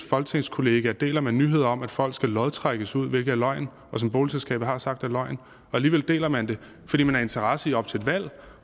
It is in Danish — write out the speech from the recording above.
folketingskolleger deler man en nyhed om at folk skal lodtrækkes ud hvilket er løgn og som boligselskabet har sagt er løgn og alligevel deler man det fordi man har interesse i op til et valg